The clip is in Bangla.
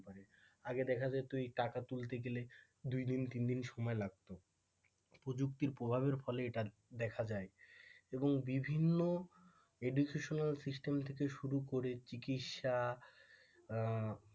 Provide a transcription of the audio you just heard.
আগে দেখা যেত এই টাকা তুলতে গেলে দুইদিন তিনদিন সময় লাগতো প্রযুক্তির প্রভাবের ফলে এটা দেখা যায় এবং বিভিন্ন educational system থেকে শুরু করে চিকিৎসা, আহ